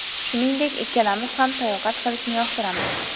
Shuningdek, ikkalamiz ham sayohat qilishni yoqtiramiz”.